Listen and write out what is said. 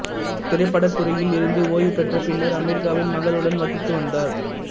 திரைப்படத்துறையில் இருந்து ஓய்வு பெற்ற பின்னர் அமெரிக்காவில் மகளுடன் வசித்து வந்தார்